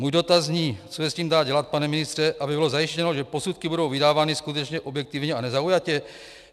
Můj dotaz zní, co se s tím dá dělat, pane ministře, aby bylo zajištěno, že posudky budou vydávány skutečně objektivně a nezaujatě.